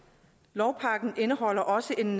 lovpakken indeholder også en